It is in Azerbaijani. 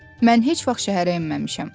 Mən heç vaxt şəhərə enməmişəm.